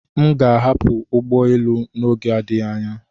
M ga-ahapụ ụgbọ elu n'oge adịghị anya.